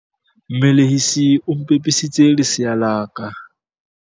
Mmelehisi o mpepisitse lesea la ka.